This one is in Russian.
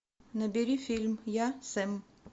набери фильм я сэм